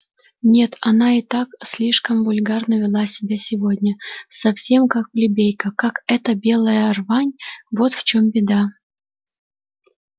нет она и так слишком вульгарно вела себя сегодня совсем как плебейка как эта белая рвань вот в чём беда